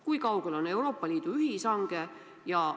Kui kaugel on Euroopa Liidu ühishange?